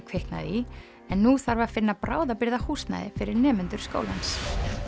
kviknaði í nú þarf að finna bráðabirgðahúsnæði fyrir nemendur skólans